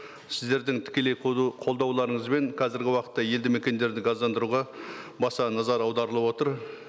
сіздердің тікелей қолдауларыңызбен қазіргі уақытта елді мекендерді газдандыруға баса назар аударылып отыр